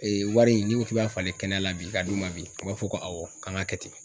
wari in n'i ko k'i b'a falen kɛnɛya la bi k'a d'u ma bi u b'a fɔ ko awɔ k'an ŋ'a kɛ ten.